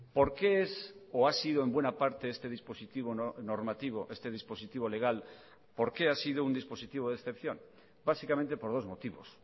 por qué es o ha sido en buena parte este dispositivo normativo este dispositivo legal por qué ha sido un dispositivo de excepción básicamente por dos motivos